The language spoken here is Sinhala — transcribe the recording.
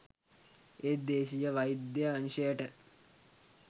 ඒත් දේශීය වෛද්‍ය අංශයට